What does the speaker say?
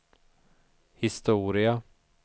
historia